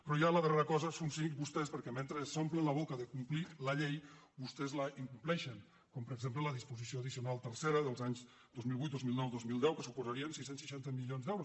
però ja la darrera cosa són cínics vostès perquè mentre s’omplen la boca de complir la llei vostès la incompleixen com per exemple amb la disposició ad·dicional tercera dels anys dos mil vuit dos mil nou dos mil deu que supo·saria sis cents i seixanta milions d’euros